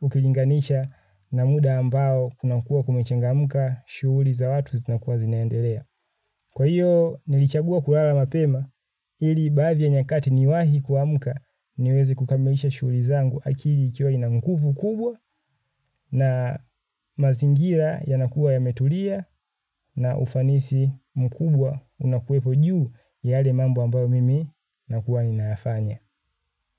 ukilinganisha na muda ambao kunakua kumechengamuka shuhuli za watu zinakuwa zinaendelea. Kwa hiyo nilichagua kulala mapema ili baadhi ya nyakati niwahi kuamuka niweze kukamilisha shuli zangu akili ikiwa ina nkufu kubwa na mazingira yanakuwa yametulia na ufanisi mkubwa unakuwepo juu ya yale mambo ambayo mimi nakuwa ninayafanya.